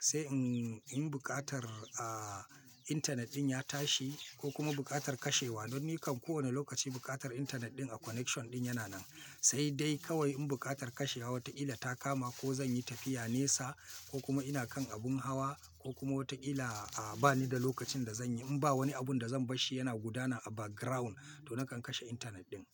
Sai in, in buƙatar, a, intanet ɗin ya tashi ko kuma buƙatar kashewa don ni kan kowane lokaci buƙatar intanet ɗin a connection ɗin yana nan. Sai dai kawai in buƙatar kashewa wata illa ta kama ko zan yi tafiya nesa ko kuma ina kan abun hawa ko kuma wata illa, a, ba ni da lokacin da zan yi. In ba wani abun da zan bashi yana gudana a background to na kan kashe intanet ɗin.